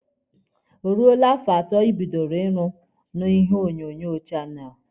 O ruole afọ atọ ibidoro ịrụ na ihe onyonyo channel?